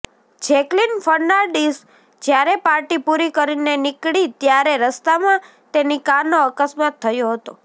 Jacqueline Fernandez જયારે party પૂરી કરીને નીકળી ત્યારે રસ્તામાં તેની કારનો અકસ્માત થયો હતો